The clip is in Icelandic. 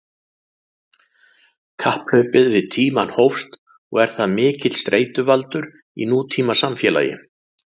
Kapphlaupið við tímann hófst og er það mikill streituvaldur í nútímasamfélagi.